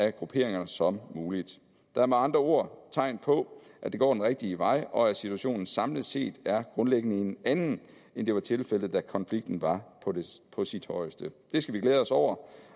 af grupperinger som muligt der er med andre ord tegn på at det går den rigtige vej og at situationen samlet set grundlæggende er en anden end det var tilfældet da konflikten var på sit højeste det skal vi glæde os over